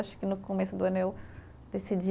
Acho que no começo do ano eu decidi